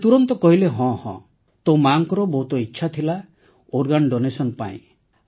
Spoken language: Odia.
ସେ ତୁରନ୍ତ କହିଲେ ହଁହଁ ତୋ ମାର ବହୁତ ଇଚ୍ଛା ଥିଲା ଅଙ୍ଗଦାନ ପାଇଁ